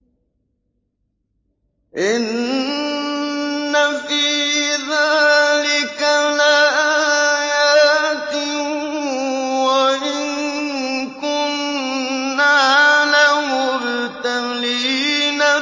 إِنَّ فِي ذَٰلِكَ لَآيَاتٍ وَإِن كُنَّا لَمُبْتَلِينَ